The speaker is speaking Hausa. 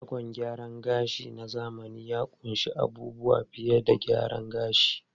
Shagon gyaran gashi na zamani ya ƙunshi abubuwa fiye da gyaran gashi.